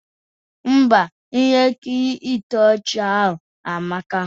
Ḿbà, ihe nkiri ịtọ ọchị ahụ amaka.